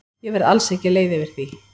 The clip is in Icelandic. Ég verð alls ekki leið yfir því.